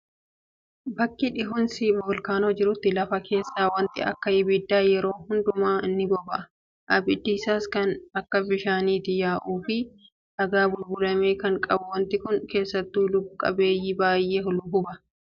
Bakka dhohiinsi volkaanoo jirutti lafa keessaa wanti akka abiddaa yeroo hundumaa ni boba'a. Abiddi isaas kan akka bishaaniitti yaa'uu fi dhagaa bulbulame kan qabu. Wanti Kun keessattuu lubbu qabeeyyii baay'ee huba.